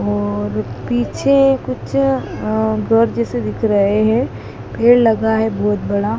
और पीछे कुछ अह घर जैसे दिख रहे हैं पेड़ लगा है बहुत बड़ा।